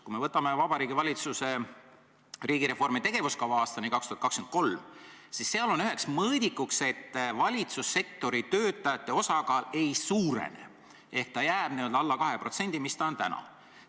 Kui me võtame Vabariigi Valitsuse riigireformi tegevuskava aastani 2023, siis seal on üheks mõõdikuks, et valitsussektori töötajate osakaal ei suurene ehk jääb alla 12%, nagu see on täna.